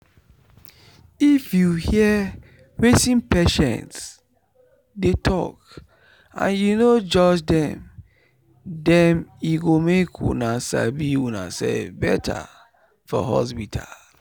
if you hear wetin patient dey talk and you no judge them them e go make una sabi unaself better for hospital.